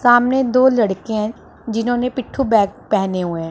सामने दो लड़के हैं जिन्होंने पिट्ठू बैग पहने हुए हैं।